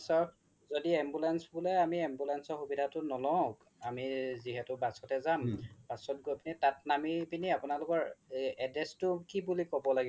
য্দি ambulance বুলে আমি ambulance সুবিধাতো নলও আমি যিহেতু bus তে যাম bus হৈ কিনে তাত নামি পিনে আপোনালোকৰ address তো কি বুলি ক্'ব লাগিব